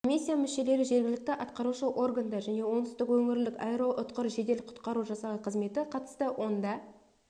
комиссия мүшелері жергілікті атқарушы органдар және оңтүстік өңірлік аэроұтқұр жедел құтқару жасағы қызметі қатысты онда